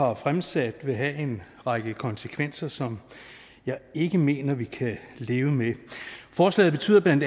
har fremsat vil have en række konsekvenser som jeg ikke mener vi kan leve med forslaget betyder bla